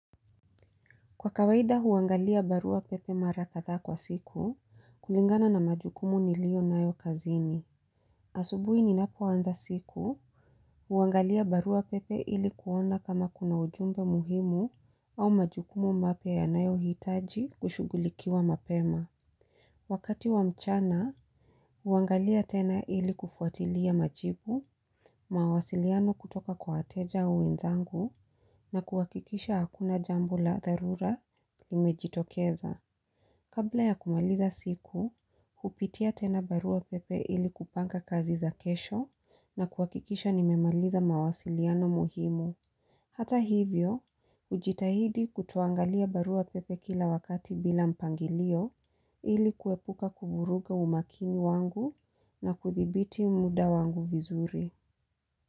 Kwa kawaida huangalia barua pepe mara kadhaa kwa siku, kulingana na majukumu nilionayo kazini. Asubuhi ninapoanza siku, huangalia barua pepe ili kuona kama kuna ujumbe muhimu au majukumu mapya yanayohitaji kushughulikiwa mapema. Wakati wa mchana, huangalia tena ili kufuatilia machibu, mawasiliano kutoka kwa wateja wenzangu na kuakikisha hakuna jambo la dharura limejitokeza. Kabla ya kumaliza siku, kupitia tena barua pepe ili kupanga kazi za kesho na kuakikisha nimemaliza mawasiliano muhimu. Hata hivyo, ujitahidi kutoangalia barua pepe kila wakati bila mpangilio ili kuepuka kuvuruga umakini wangu na kudhibiti muda wangu vizuri.